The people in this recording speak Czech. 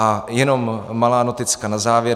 A jenom malá noticka na závěr.